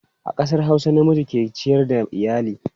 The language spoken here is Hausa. A ƙasar Hausa, namiji ke ciyar da iyali.